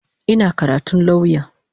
Ina karatun lauya.